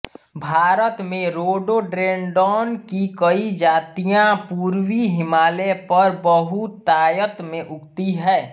भारत में रोडोडेंड्रॉन की कई जातियाँ पूर्वी हिमालय पर बहुतायत से उगती हैं